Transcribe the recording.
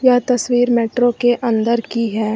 यह तस्वीर मेट्रो के अंदर की है।